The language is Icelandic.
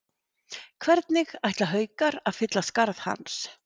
Hvernig ætla Haukar að fylla skarð hans?